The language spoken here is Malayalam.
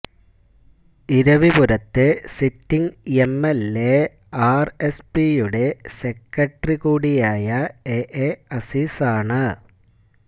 ഇരവിപുരത്തെ സിറ്റിങ് എംഎല്എ ആര്എസ്പിയുടെ സെക്രട്ടറി കൂടിയായ എഎ അസീസാണ്